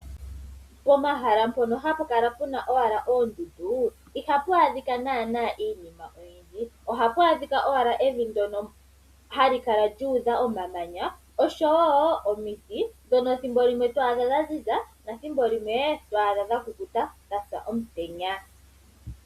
Pomahala mpono hapu kala puna owala oondundu ihapu adhika naana iinima oyindji. ohapu adhika owala evi ndono hali kala lyuudha omamanya oshowo omiti ndhono ethimbo limwe to adha dha ziza nathimbo limwe otwaadha dha kukuta dhasa omutenya.